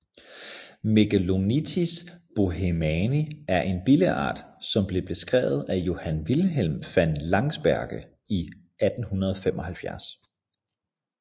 Megalonitis bohemani er en billeart som blev beskrevet af Johan Wilhelm van Lansberge i 1875